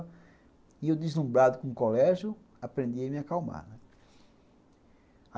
E eu, deslumbrado com o colégio, aprendi a me acalmar, né.